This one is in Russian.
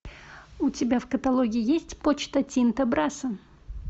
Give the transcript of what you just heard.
у тебя в каталоге есть почта тинто брасса